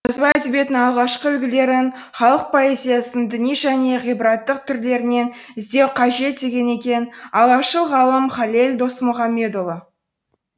жазба әдебиеттің алғашқы үлгілерін халық поэзиясының діни және ғибраттық түрлерінен іздеу қажет деген екен алашшыл ғалым халел досмұхамедұлы